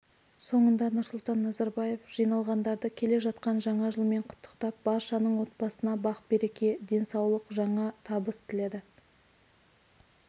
соңында нұрсұлтан назарбаев жиналғандарды келе жатқан жаңа жылмен құттықтап баршаның отбасына бақ-береке денсаулық жаңа табыс тіледі